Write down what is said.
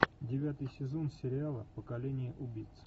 девятый сезон сериала поколение убийц